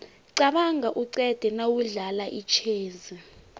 qabanga uqede nawudlala itjhezi